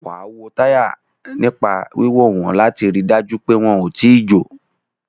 Wàá wo táyà nípa wíwò wọ́n láti rí dájú pé wọn ò tíì jò